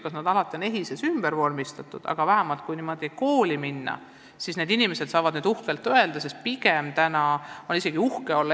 Kas nad kõik on EHIS-es ümber vormistatud, ma ei tea, aga koolis saavad need inimesed nüüd uhkelt öelda, et nad on eripedagoogid.